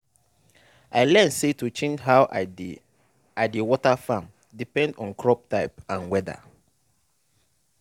i learn say to change how i dey i dey water farm depend on crop type and weather